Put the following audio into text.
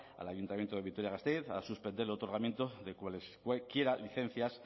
al ayuntamiento de vitoria gasteiz a suspender el otorgamiento de licencias